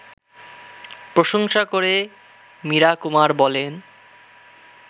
প্রশংসা করে মীরা কুমার বলেন